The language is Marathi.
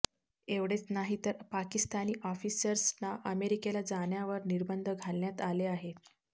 एवढेच नाही तर पाकिस्तानी ऑफिसर्सना अमेरिकेला जाण्यावर निर्बंध घालण्यात आले आहेत